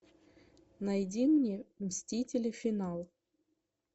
найди мне мстители финал